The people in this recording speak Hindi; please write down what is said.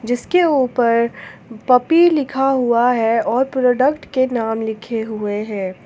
उसके ऊपर पप्पी लिखा हुआ है और प्रोडक्ट के नाम लिखे हुए हैं।